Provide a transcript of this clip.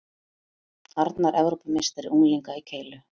Arnar Evrópumeistari unglinga í keilu